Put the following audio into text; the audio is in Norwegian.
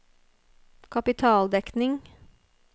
kapitaldekning